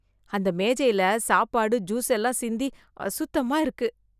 அந்த மேஜைல சாப்பாடு, ஜூஸ் எல்லாம் சிந்தி அசுத்தமாயிருக்கு...